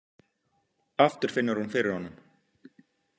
Aftur finnur hún fyrir honum.